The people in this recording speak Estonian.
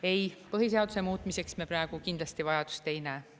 Ei, põhiseaduse muutmiseks me praegu kindlasti vajadust ei näe.